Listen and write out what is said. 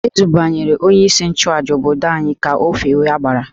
E dubanyere onyeisi nchụàjà obodo anyị ka o fewe agbara